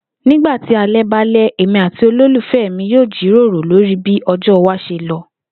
Nígbà tí alé̩ bá lé̩, èmi àti olólùfè̩ mi yóò jiròrò lórí bí o̩jó̩ wa s̩e lo